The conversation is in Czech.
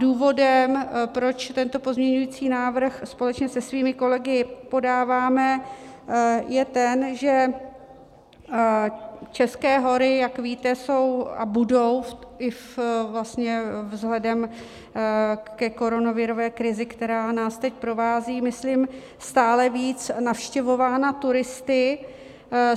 Důvodem, proč tento pozměňující návrh společně se svými kolegy podáváme, je ten, že české hory, jak víte, jsou a budou i vlastně vzhledem ke koronavirové krizi, která nás teď provází, myslím stále víc navštěvovány turisty.